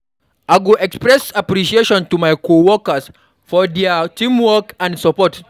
I go express appreciation to my coworkers for dia teamwork and support.